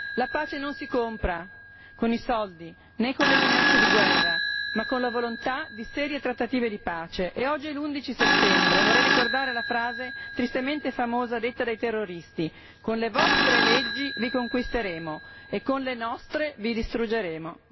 La pace non si compra con i soldi né con le minacce di guerra, ma con la volontà di serie trattative di pace e oggi 11 settembre e vorrei ricordare la frase tristemente famosa pronunciata dai terroristi Con le vostre leggi vi conquisteremo e con le nostre vi distruggeremo.